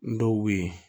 Dɔw be yen